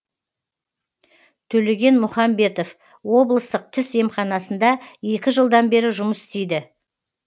төлеген мұхамбетов облыстық тіс емханасында екі жылдан бері жұмыс істейді